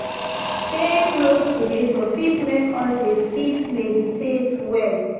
Staying close to nature fit make us dey fit meditate well